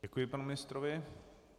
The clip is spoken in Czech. Děkuji panu ministrovi.